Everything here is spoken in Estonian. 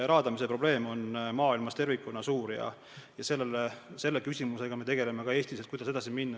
Raadamise probleem on maailmas tervikuna suur ja selle küsimusega me tegeleme ka Eestis.